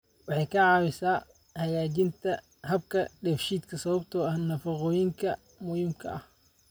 Waxay ka caawisaa hagaajinta habka dheefshiidka sababtoo ah nafaqooyinka muhiimka ah.